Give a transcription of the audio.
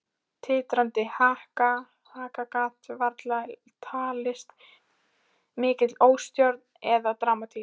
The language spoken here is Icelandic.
Titrandi haka gat varla talist mikil óstjórn eða dramatík.